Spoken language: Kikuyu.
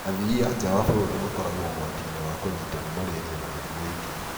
Athiia a njaa wa bũrũri makoragwo ũgwatiinĩ wa kũnyitwo nĩ malaria na mĩrimo ĩngĩ.